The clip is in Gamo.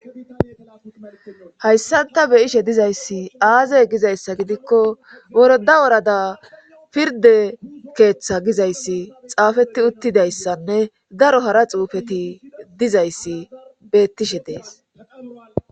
hayssanta beyishe dizayssi aazey gizayssa gidikko woroda orada pirde keeththa gizayssi xaafeti uttidayssanne daro hara xuufeti dizayssi beettishe dees